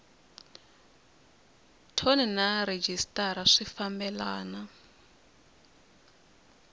thoni na rhejisitara swi fambelana